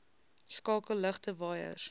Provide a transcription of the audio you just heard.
skakel ligte waaiers